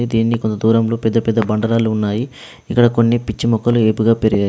దీన్ని కొంత దూరంలో పెద్ద పెద్ద బండరాళ్లు ఉన్నాయి. ఇక్కడ కొన్ని పిచ్చి మొక్కలు ఏపుగా పెరిగాయి.